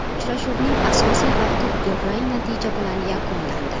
Uchrashuvning asosiy vaqti durang natija bilan yakunlandi.